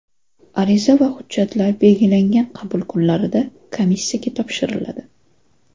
Ariza va hujjatlar belgilangan qabul kunlarida Komissiyaga topshiriladi.